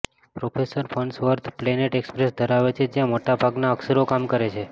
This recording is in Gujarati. પ્રોફેસર ફર્ન્સવર્થ પ્લેનેટ એક્સપ્રેસ ધરાવે છે જ્યાં મોટા ભાગના અક્ષરો કામ કરે છે